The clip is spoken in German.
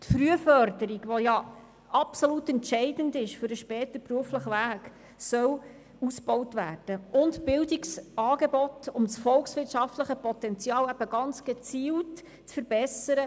Die Frühförderung, die absolut entscheidend ist für den späteren beruflichen Weg, soll ausgebaut werden, ebenso Bildungsangebote, die das volkswirtschaftliche Potenzial eben ganz gezielt verbessern.